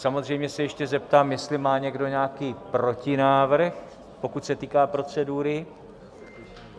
Samozřejmě se ještě zeptám, jestli má někdo nějaký protinávrh, pokud se týká procedury?